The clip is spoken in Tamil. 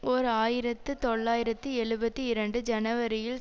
ஓர் ஆயிரத்து தொள்ளாயிரத்து எழுபத்தி இரண்டு ஜனவரியில்